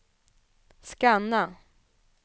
scanna